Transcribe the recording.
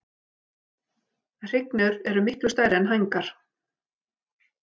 Hrygnur eru miklu stærri er hængar.